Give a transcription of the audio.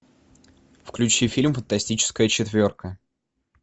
включи фильм фантастическая четверка